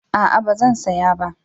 A'a ba zan saya ba